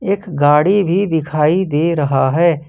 एक गाड़ी भी दिखाई दे रहा है।